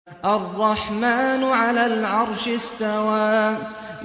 الرَّحْمَٰنُ عَلَى الْعَرْشِ اسْتَوَىٰ